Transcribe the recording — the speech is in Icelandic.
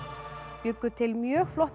bjuggu til mjög flotta